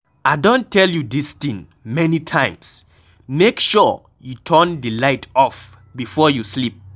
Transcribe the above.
I don tell you dis thing many times, make sure you turn the light off before you sleep.